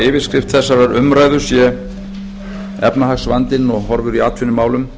yfirskrift þessarar umræðu sé efnahagsvandinn og horfur í atvinnumálum